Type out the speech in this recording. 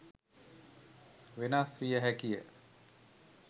වෙනස් වියහැකිය.